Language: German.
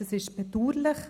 Das ist bedauerlich.